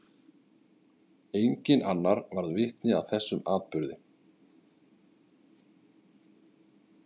Enginn annar varð vitni að þessum atburði.